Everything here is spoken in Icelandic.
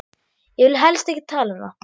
Ég vil helst ekki tala um það.